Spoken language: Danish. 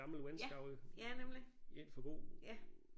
Ja ja nemlig ja